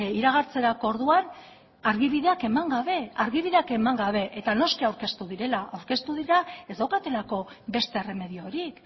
iragartzerako orduan argibideak eman gabe eta noski aurkeztu direla aurkeztu dira ez daukatelako beste erremediorik